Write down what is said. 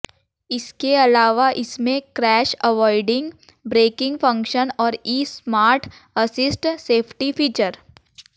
इसके अलावा इसमें क्रैश अवॉइडिंग ब्रेकिंग फंक्शन और E smart assist safety features